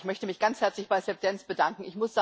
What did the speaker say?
Ich möchte mich ganz herzlich bei Seb Dance bedanken.